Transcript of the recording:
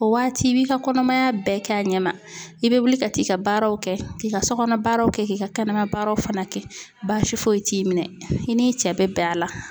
O waati i b'i ka kɔnɔmaya bɛɛ k'a ɲɛma. I be wuli ka t'i ka baaraw kɛ k'i ka so kɔnɔ baaraw kɛ k'i ka kɛnɛma baaraw fana kɛ, baasi foyi t'i minɛ. I n'i cɛ be bɛn a la.